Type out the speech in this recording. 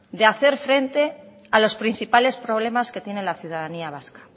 de hacer frente a los principales problemas que tiene la ciudadanía vasca